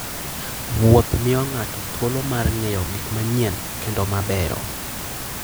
Wuoth miyo ng'ato thuolo mar ng'eyo gik manyien kendo mabeyo.